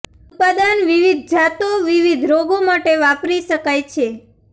ઉત્પાદન વિવિધ જાતો વિવિધ રોગો માટે વાપરી શકાય છે